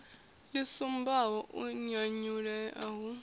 ḽi sumbaho u nyanyulea hu